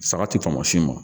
Saga ti tɔmɔ sin ma